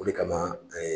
O de kama an ye